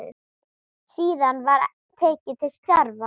Síðan var tekið til starfa.